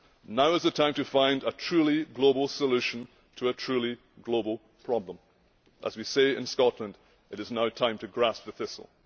Now is the time to find a truly global solution to a truly global problem. As we say in Scotland, it is now time to grasp the thistle.